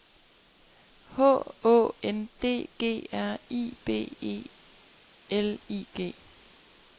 H Å N D G R I B E L I G